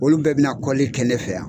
Olu bɛɛ bina kɛ ne fɛ yan.